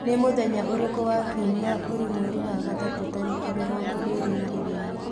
ni mũthenya ũrĩkũ wa kĩumĩa uri mweri wa gatatu tarĩkĩ mĩrongo ĩrĩ na igiri